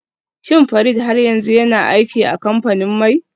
Shin Farid har yanzu yana aiki a kamfanin mai?